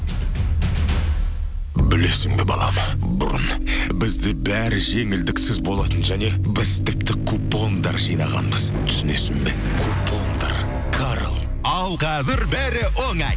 білесің бе балам бұрын бізде бәрі жеңілдіксіз болатын және біз тіпті купондар жинағанбыз түсінесің бе купондар карл ал қазір бәрі оңай